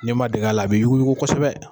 N'i ma dege a la a bi yugu yugu kosɛbɛ